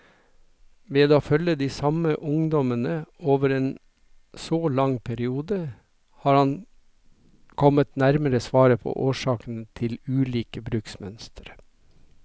Ved å følge de samme ungdommene over en så lang periode, har han kommet nærmere svaret på årsakene til ulike bruksmønstre.